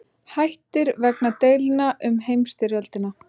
Hættir vegna deilna um heimsstyrjöldina